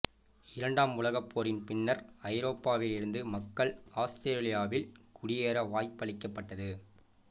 இரண்டாம் உலகப் போரின் பின்னர் ஐரோப்பாவில் இருந்து மக்கள் ஆஸ்திரேலியாவில் குடியேற வாய்ப்பளிக்கப்பட்டது